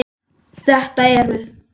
Þetta eru.